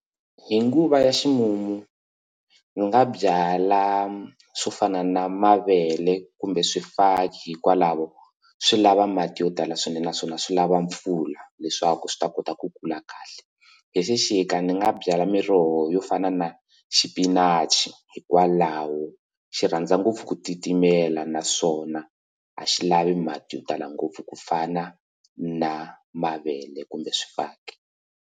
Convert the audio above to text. Hi nguva ya ximumu ndzi nga byala swo fana na mavele kumbe swifaki hikwalaho swi lava mati yo tala swinene naswona swi lava mpfula leswaku swi ta kota ku kula kahle hi xixika ndzi nga byala miroho yo fana na xipinachi hikwalaho xi rhandza ngopfu ku titimela naswona a xi lavi mati yo tala ngopfu ku fana na mavele kumbe swifaki.